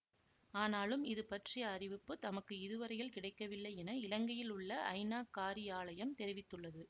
ஆனாலும் இது பற்றிய அறிவிப்புத் தமக்கு இதுவரையில் கிடைக்கவில்லை என இலங்கையில் உள்ள ஐநா காரியாலயம் தெரிவித்துள்ளது